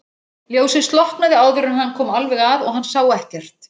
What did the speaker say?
Ljósið slokknaði áður en hann kom alveg að og hann sá ekkert.